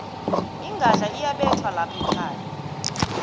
ingadla iyabethwa lapha ekhaya